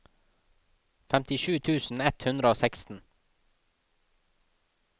femtisju tusen ett hundre og seksten